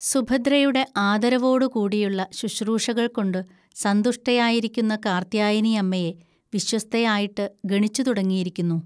സുഭദ്രയുടെ ആദരവോടുകൂടിയുള്ള ശുശ്രൂഷകൾകൊണ്ടു സന്തുഷ്ടിയായിരിക്കുന്ന കാർത്യായനി അമ്മയെ വിശ്വസ്തയായിട്ട് ഗണിച്ചു തുടങ്ങിയിരിക്കുന്നു